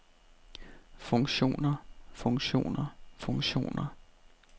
funktioner funktioner funktioner